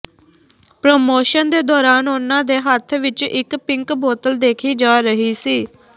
promotion ਦੇ ਦੌਰਾਨ ਉਨ੍ਹਾਂ ਦੇ ਹੱਥ ਵਿੱਚ ਇੱਕ ਪਿੰਕ ਬੋਤਲ ਦੇਖੀ ਜਾ ਰਹੀ ਸੀ